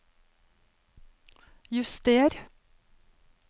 juster